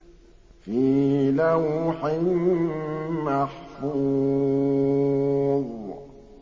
فِي لَوْحٍ مَّحْفُوظٍ